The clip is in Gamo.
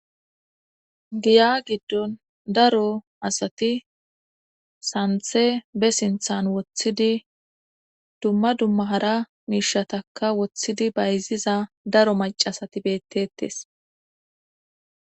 Giya giddon daro asati santhe be sinthan woththidi dumma dummahara miishataka woththidi bayziza daro macasati beettettes.